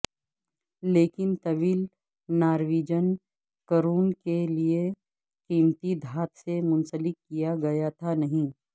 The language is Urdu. لیکن طویل نارویجن کرون لئے قیمتی دھات سے منسلک کیا گیا تھا نہیں